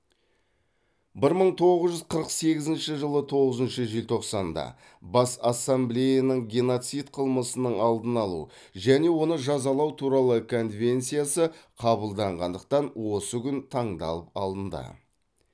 бір мың тоғыз жүз қырық сегізінші жылы тоғызыншы желтоқсанда бас ассамблеяның геноцид қылмысының алдын алу және оны жазалау туралы конвенциясы қабылданғандықтан осы күн таңдалып алынды